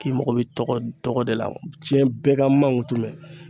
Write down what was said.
K'i mago bɛ tɔgɔ de la diɲɛ bɛɛ ka n mankutu mɛn